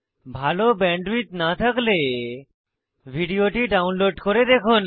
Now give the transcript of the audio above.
ভাল ব্যান্ডউইডথ না থাকলে ভিডিওটি ডাউনলোড করে দেখুন